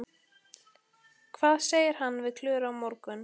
Hvað segir hann við Klöru á morgun?